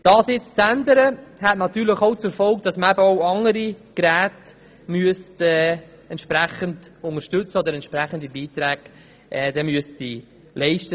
Dies zu ändern, hätte natürlich auch zur Folge, dass weitere Geräte mit entsprechenden Beiträgen unterstützt werden müssten.